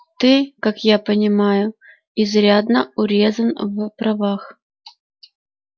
ты как я понимаю изрядно урезан в правах